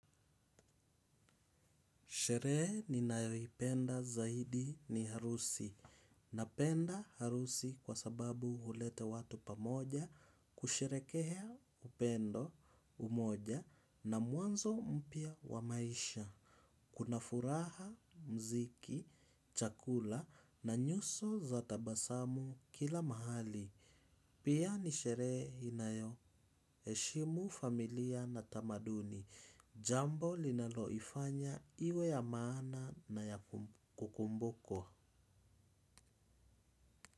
Sherehe ninayoipenda zaidi ni harusi. Napenda harusi kwa sababu huleta watu pamoja kusherehekea upendo umoja na mwanzo mpya wa maisha. Kuna furaha, mziki, chakula na nyuso za tabasamu kila mahali. Pia ni sherehe inayoheshimu familia na tamaduni. Jambo linaloifanya iwe ya maana na ya kukumbukwa.